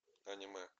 аниме